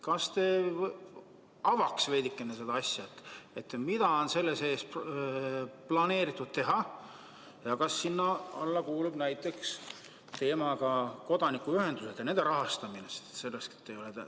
Kas te avaks veidikene seda asja: mida on selle sees planeeritud teha ja kas sinna alla kuulub näiteks teema "Kodanikuühendused ning nende rahastamine"?